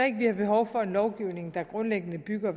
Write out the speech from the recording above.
ikke vi har behov for en lovgivning der grundlæggende bygger